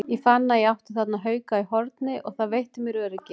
Ég fann að ég átti þarna hauka í horni og það veitti mér öryggi.